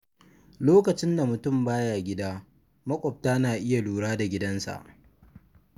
Lokacin da mutum ba ya gida, maƙwabta na iya lura da gidansa.